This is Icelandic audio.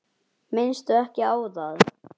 Minnstu ekki á það.